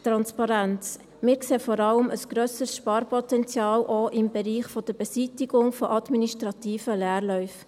Wir sehen vor allem auch ein grösseres Sparpotenzial im Bereich der Beseitigung von administrativen Leerläufen.